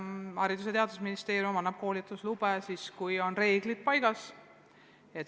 Aga jah, Haridus- ja Teadusministeerium annab koolitusloa siis, kui on reeglid paigas.